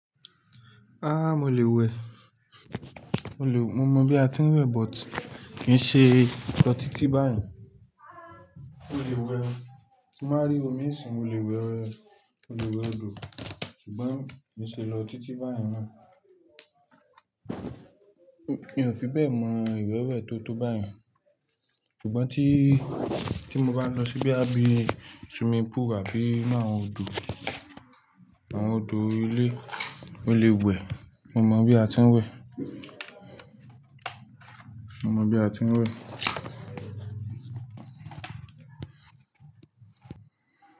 Ah! Mo lè wẹ̀, mo mọ bí a ti ń wẹ̀ but kì í ṣe lọ títí báyìí. Mo lè wẹ̀, tí mo bá rí omi ìsìn mo lè wẹ̀, mo lè wẹ̀ odò ṣùgbọ́n kì í ṣe lọ títí báyìí mọ́. Mi ò fi bẹ́ẹ̀ mọ ìwẹ̀ wẹ̀ tó tó báyìí mọ́ ṣùgbọ́n tí, tí mo bá lọ sí bóyá bí swimming pool àbí inú àwọn odò, àwọn odò ilé, mo lè wẹ̀. Mo mọ bí a ti ń wẹ̀. Mo mọ bí a ti ń wẹ̀.